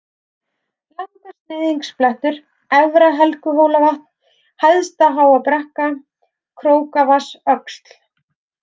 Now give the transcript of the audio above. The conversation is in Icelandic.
Langasneiðingsblettur, Efra-Helguhólavatn, Hæsta-Háabrekka, Krókavatnsöxl